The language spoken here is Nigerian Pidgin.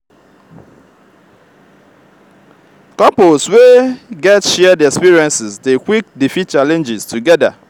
couple we get shared experiences dey quick defeat challenges together.